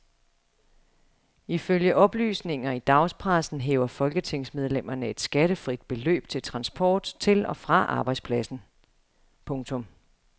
Ifølge oplysninger i dagspressen hæver folketingsmedlemmerne et skattefrit beløb til transport til og fra arbejdspladsen. punktum